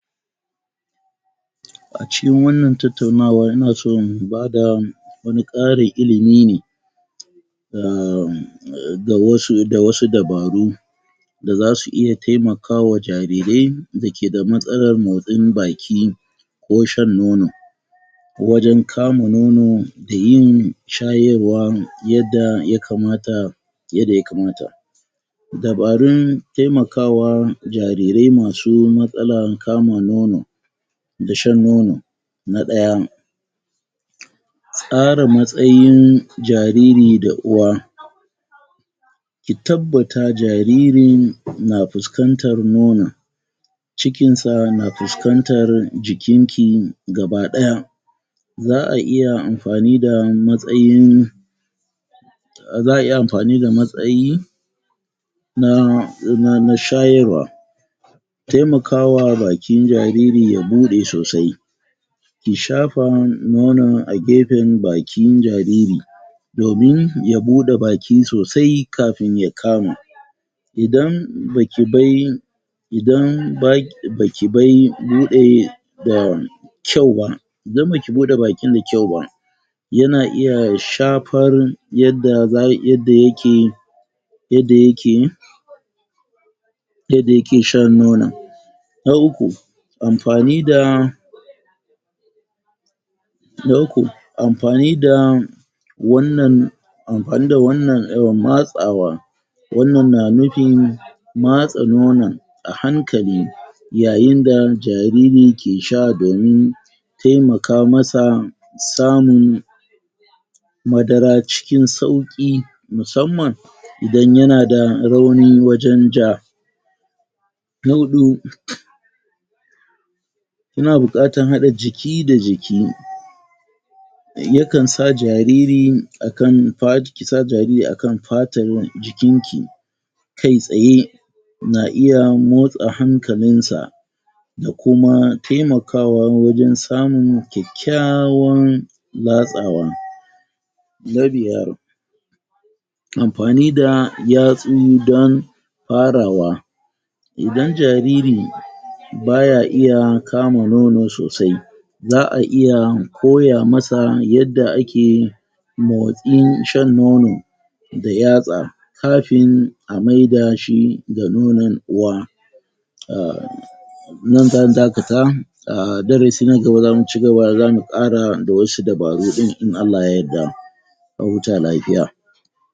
A cikin wannan tattaunawar ina so in bada wani ƙarin ilimi ne um um da wasu, da wasu dubaru da zsu iya taimkawa jarirai dake da matsalar motin baki ko shan nono wajan kama nono da yin shayarwa yadda yakamata yadda yamakata dubarun taimakawa jarirai masu matsalar kama nono da shan nono na ɗaya tsara matsayin jariri da uwa ki tabbata jaririn na fuskantar nonon cikin sa na fuskantar jikin ki gaba ɗaya za'a iya amfani da matsayin za'a iya amfani da matsayi na um shayarwa taimakawa bakin jariri ya buɗe sosai ki shafa nonon a gefen bakin jariri domin ya buɗe baki sosai kafin ya kama idan baki bai idan baki baki bai buɗe um kyau ba, indan baki buɗe baki sa kyau ba yana iya shafar yadda za yadda yake yadda yake yadda yake shan nonon na uku amfani da na uku amfani da wannan amfani da wannan matsawa wannan na nufin matsa nonon a hankali yayain da jariri ke sha domin taimaka masa samun madara cikin sauƙi musammam idan yana da rauni wajan ja na huɗu yana buƙarta haɗa jiki da jiki yakan sa jariri akan fata, kisa jariri akan fatan jikin ki ka tsaye na iya motsa hankalin sa da kuma taimakawa wajan samun kyakykyawan latsawa na biyar amfani da yatsu dan farawa idan jariri baya iya kama nono sosai, za'a iya koya masa yadda ake motsin shan nono da yatsa kafin a maidashi ga nonon uwa um nan zan dakata, darasi na gaba zamu ciigaba zamu ƙara da wasu dubaru din in Allah ya yadda a huta lafiya.